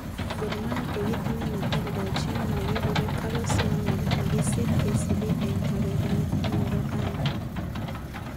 Gor mahia kokitinye neteledojin nekikure Carlos Manuel nekisir KCB eng kebeberta nebo aeng.